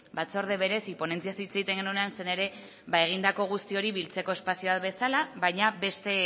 batzorde bereziaz ponentziaz hitz egiten genuenean zen ere egindako guzti hori biltzeko espazioa bezala baina beste